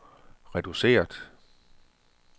reduceret